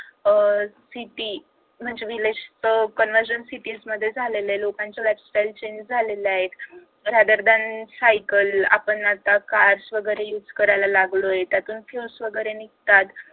अह city म्हणजे village च conversion city मध्ये झालेल्या लोकांची lifestyle change झालेले आहे. rather than सायकल आपण आता cars वगैरे use करायला लागलोय त्यातून fuels वगैरे निघतात.